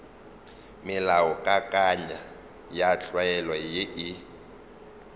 melaokakanywa ya tlwaelo ye e